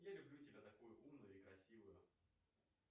я люблю тебя такую умную и красивую